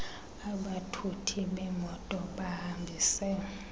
abathuthi bemoto bahambise